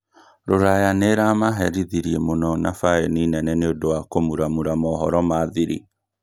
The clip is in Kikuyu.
rũraya nĩĩramaherithirie mũno na baeni nene nĩũndũ wa kũmuramura mohoro ma thiri